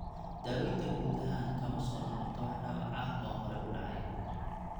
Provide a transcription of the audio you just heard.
Daawaynta guud ahaan kama soo noqoto wax dhaawac ah oo hore u dhacay.